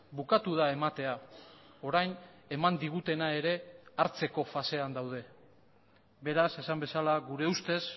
bukatu da ematea orain eman digutena ere hartzeko fasean daude beraz esan bezala gure ustez